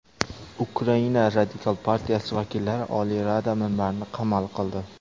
Ukraina Radikal partiyasi vakillari Oliy Rada minbarini qamal qildi.